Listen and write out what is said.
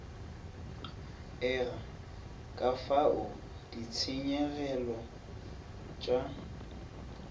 ega kafao ditshenyegelo t a